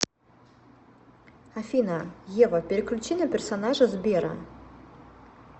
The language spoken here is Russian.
афина ева переключи на персонажа сбера